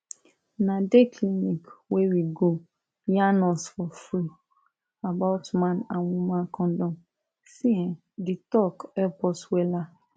na dey clinic wey we go yarn us for free about man and woman condom see um di talk help us wella